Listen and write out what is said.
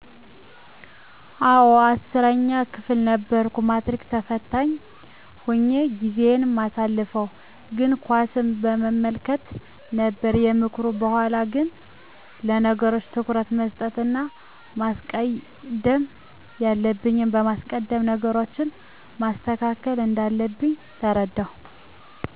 አወ 10 ክፍል ነበርኩ ማትሪክ ተፈታኝ ሁኘ ጊዜየን ማሳልፈው ግን ኳስን በመመልከት ነበር ከምክሩ በሗላ ግን ለነገሮች ትኩረት መስጠት እና ማስቀደም ያለብኝን በማስቀደም ነገሮችን ማስተካከል እንዳለብኝ ተረዳው።